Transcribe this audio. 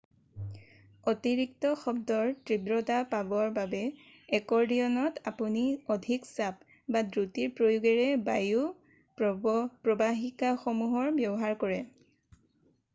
অতিৰিক্ত শব্দৰ তীব্ৰতা পাবৰ বাবে একৰ্ডিয়নত আপুনি অধিক চাপ বা দ্ৰুতিৰ প্ৰয়োগেৰে বায়ু প্ৰৱাহিকাসমূহৰ ব্যৱহাৰ কৰে